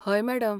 हय, मॅडम.